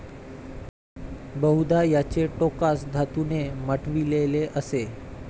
बहुदा, याचे टोकास धातूने मढविलेले असे ।